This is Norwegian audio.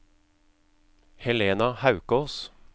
Helena Haukås